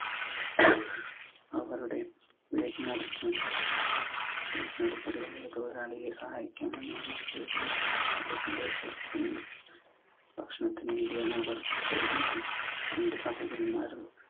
അവരുടെ വീടിനടുത്തു വീട്ടിനടുത്തുള്ള ഒരു മുതലാളിയെ സഹായിക്കാനെന്നോണം ഭക്ഷണത്തിനു വേണ്ടിയാണു അവർ പോയിരുന്നത്. രണ്ടു സഹോദരന്മാരും